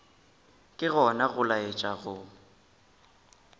ke gona go laetša go